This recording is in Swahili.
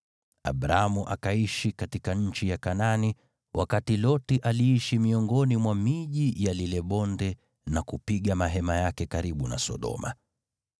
Abramu akaishi katika nchi ya Kanaani, wakati Loti aliishi miongoni mwa miji ya lile bonde na kupiga mahema yake karibu na Sodoma.